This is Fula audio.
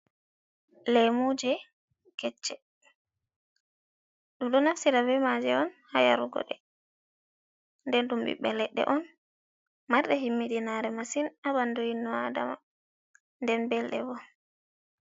Leemuje kecce, ɗum ɗo naftira be maaji on haa yarugo ɗe, nden ɗum ɓiɓɓe leɗɗe on marɗe himmiɗi naare masin, haa ɓandu inno adama, nden belɗe boo.